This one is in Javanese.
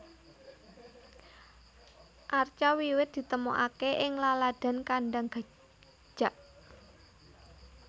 Arca wiwit ditemokaké ing laladan Kandang Gajak